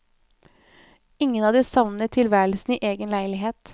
Ingen av de savner tilværelsen i egen leilighet.